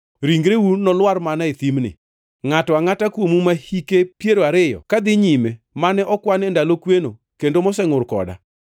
Ringreu nolwar mana e thimni; ngʼato angʼata kuomu ma hike piero ariyo ka dhi nyime mane okwan e ndalo kweno kendo mosengʼur koda.